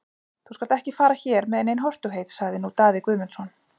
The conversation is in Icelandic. Þú skalt ekki fara hér með nein hortugheit, sagði nú Daði Guðmundsson.